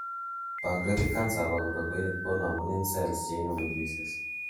pancreatic cancer abakora konamunen cells cheinemu juices